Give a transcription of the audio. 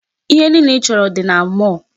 Ihe niile ị chọrọ dị na mall.